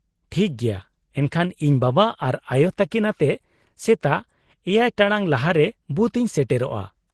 -ᱴᱷᱤᱠ ᱜᱮᱭᱟ ᱾ ᱮᱱᱠᱷᱟᱱ ᱤᱧ ᱵᱟᱵᱟ ᱟᱨ ᱟᱭᱳ ᱛᱟᱹᱠᱤᱱ ᱟᱛᱮᱫ ᱥᱮᱛᱟᱜ ᱗ ᱴᱟᱲᱟᱝ ᱞᱟᱦᱟᱨᱮ ᱵᱩᱛᱷᱚ ᱤᱧ ᱥᱮᱴᱮᱨᱚᱜᱼᱟ ᱾